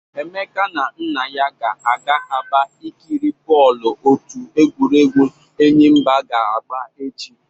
Emeka na nna ya ga-aga Aba ikiri bọọlụ otu egwuregwu Enyimba ga-agba echi.